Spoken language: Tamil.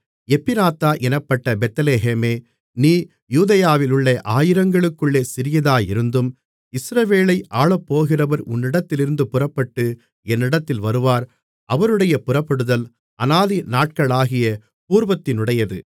எப்பிராத்தா என்னப்பட்ட பெத்லெகேமே நீ யூதேயாவிலுள்ள ஆயிரங்களுக்குள்ளே சிறியதாயிருந்தும் இஸ்ரவேலை ஆளப்போகிறவர் உன்னிடத்திலிருந்து புறப்பட்டு என்னிடத்தில் வருவார் அவருடைய புறப்படுதல் அநாதி நாட்களாகிய பூர்வத்தினுடையது